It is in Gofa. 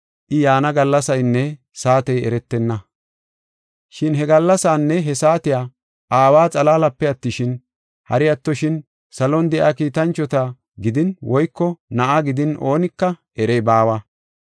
“Shin he gallasaanne he saatiya Aawa xalaalape attishin, hari attoshin salon de7iya kiitanchota gidin woyko Na7aa gidin oonika erey baawa.